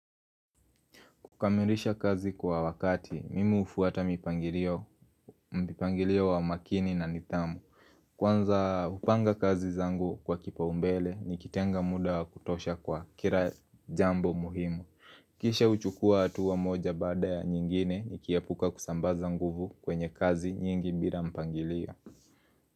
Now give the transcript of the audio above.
Kukamirisha kazi kwa wakati, mimi hufuata mpangilio mipangilio wa makini na nidhamu. Kwanza upanga kazi zangu kwa kipa umbele, nikitenga muda kutosha kwa kira jambo muhimu. Kisha uchukua atuwa moja bada ya nyingine, nikie puka kusambaza nguvu kwenye kazi nyingi bila mpangilio.